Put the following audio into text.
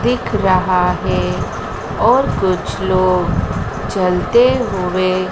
देख रहा है और कुछ लोग चलते हुए--